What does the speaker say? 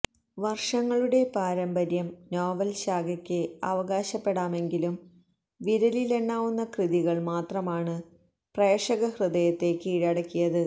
വര്ഷങ്ങളുടെ പാരമ്പര്യം നോവല് ശാഖക്ക് അവകാശപ്പെടാമെങ്കിലും വിരലിലെണ്ണാവുന്ന കൃതികള് മാത്രമാണ് പ്രേക്ഷക ഹൃദയത്തെ കീഴടക്കിയത്